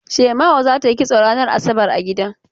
Shema'u za ta yi kisto ranar asabar a gida.